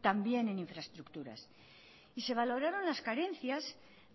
también en infraestructuras y se valoraron las carencias